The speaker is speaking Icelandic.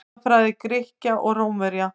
Goðafræði Grikkja og Rómverja.